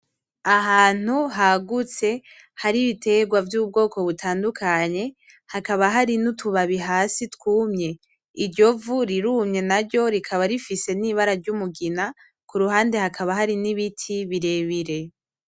Ahantu hagutse hari ibitegwa vy'ubwoko butandukanye hakaba hari n'utubabi hasi twumye , iryo vu rirumye naryo rikaba rifise n'ibara ry'umugina, kurubande hakaba hari n'ibiti birebire.